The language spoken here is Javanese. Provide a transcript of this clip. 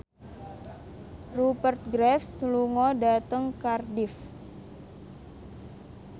Rupert Graves lunga dhateng Cardiff